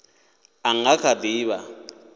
a nga kha di vha